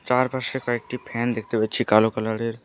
তার পাশে কয়েকটি ফ্যান দেখতে পাচ্ছি কালো কালারের।